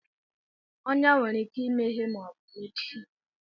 Ọnyá nwere ike imeghe ma ọ bụ mechie